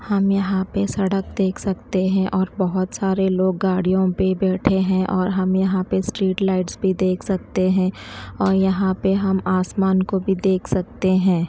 हम यहां पे सड़क देख सकते हैं और बहोत सारे लोग गाड़ियों पे बैठे हैं और हम यहां पे स्ट्रीट लाइट भी देख सकते हैं और यहां पे हम आसमान को भी देख सकते हैं।